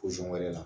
wɛrɛ la